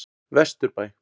Vesturbæ